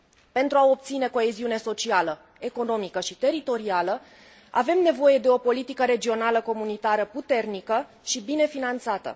Pentru a obține coeziune socială, economică și teritorială, avem nevoie de o politică regională comunitară puternică și bine finanțată.